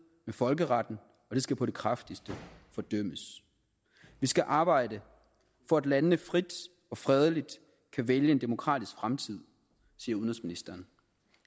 med folkeretten og det skal på det kraftigste fordømmes vi skal arbejde for at landene frit og fredeligt kan vælge en demokratisk fremtid siger udenrigsministeren